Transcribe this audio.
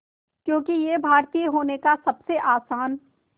क्योंकि ये भारतीय होने का सबसे आसान